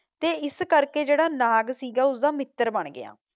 ਤੇ ਇਸ ਕਰਕੇ ਜਿਹੜਾ ਨਾਗ ਸੀਗਾ ਉਸਦਾ ਮਿੱਤਰ ਬਣ ਗਿਆ।